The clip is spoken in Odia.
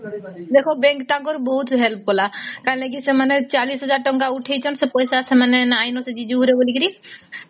ଦେଖ bank ତାଙ୍କର ବହୁତ help କଲା କୈଳାଗି ସେମାନେ ଚାଳିଶ ହଜାର ଟଙ୍କା ଉଠେଇଛନ୍ତି ସେ ପଇସା ସେମାନେ ନାଇଁ ନ ଶେରୁ ରେ ବୋଲି